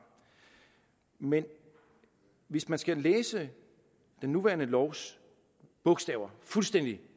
men hvis man skal læse den nuværende lovs bogstaver fuldstændig